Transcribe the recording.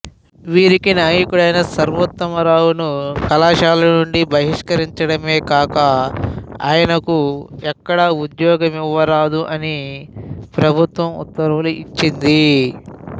వీరికి నాయకుడైన సర్వోత్తమ రావును కళాశాల నుండి బహిష్కరించడమే కాక ఆయనకు ఎక్కడా ఉద్యోగమివ్వరాదని ప్రభుత్వం ఉత్తర్వులు ఇచ్చింది